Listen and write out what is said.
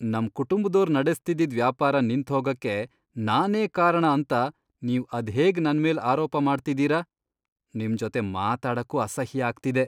ನಮ್ ಕುಟುಂಬ್ದೋರ್ ನಡೆಸ್ತಿದ್ದಿದ್ ವ್ಯಾಪಾರ ನಿಂತ್ಹೋಗಕ್ಕೆ ನಾನೇ ಕಾರಣ ಅಂತ ನೀವ್ ಅದ್ಹೇಗ್ ನನ್ಮೇಲ್ ಆರೋಪ ಮಾಡ್ತಿದೀರ? ನಿಮ್ ಜೊತೆ ಮಾತಾಡಕ್ಕೂ ಅಸಹ್ಯ ಆಗ್ತಿದೆ.